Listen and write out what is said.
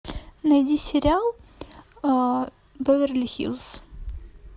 найди сериал беверли хиллз